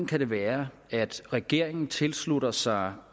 kan være at regeringen tilslutter sig